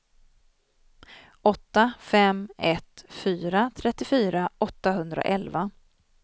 åtta fem ett fyra trettiofyra åttahundraelva